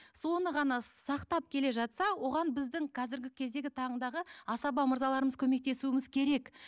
соны ғана сақтап келе жатса оған біздің қазіргі кездегі таңдағы асаба мырзаларымыз көмектесуіміз керек